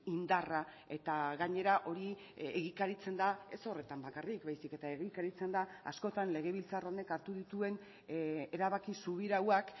indarra eta gainera hori egikaritzen da ez horretan bakarrik baizik eta egikaritzen da askotan legebiltzar honek hartu dituen erabaki subirauak